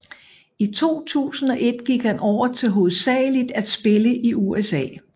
I 2001 gik han over til hovedsageligt at spille i USA